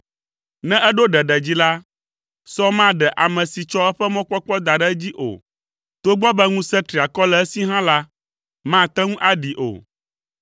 Ne eɖo ɖeɖe dzi la, sɔ maɖe ame si tsɔ eƒe mɔkpɔkpɔ da ɖe edzi o, togbɔ be ŋusẽ triakɔ le esi hã la, mate ŋu aɖee o.